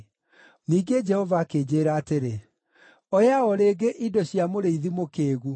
Ningĩ Jehova akĩnjĩĩra atĩrĩ, “Oya o rĩngĩ indo cia mũrĩithi mũkĩĩgu.